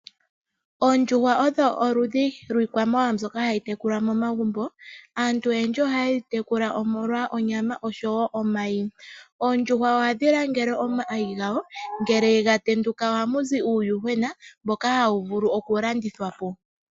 Oondjuhwa odho oludhi lwiitekulwanamwenyo mbyoka hayi tekulwa momagumbo, aantu oyendji ohaye dhi tekula molwa onyama oshowo omayi. Oondjuhwa ohadhi langele omayi gadho, ngele ga tenduka ohamu zi uuyuhwena mboka hawu vulu okulandithwa po.